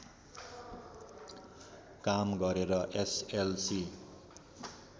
काम गरेर एसएलसी